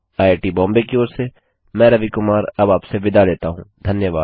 IIT Bombay की ओर से मैं रवि कुमार आपसे विदा लेता हूँ धन्यवाद